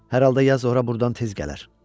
Hər halda yaz ora burdan tez gələr.